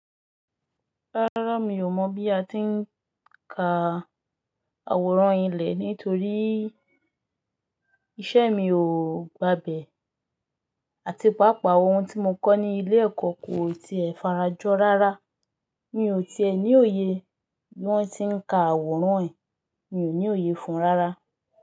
Rárá mi ò mọ̀ bí a ti ń kaa àwòrán ilẹ̀ nítorí iṣẹ́ mi ò gba bẹ̀ àti paapaa ohun tí mo kọ́ ní ilé ẹ̀kọ́ kò tiẹ̀ farajọ́ rárá. Mi ò tí è ní òye bi won tí ń ka àwòrán yii, mi ò ní òye fún rárá.